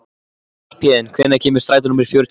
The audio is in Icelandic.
Skarphéðinn, hvenær kemur strætó númer fjörutíu og eitt?